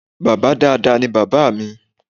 Bàbá dáadáa ní bàbá mi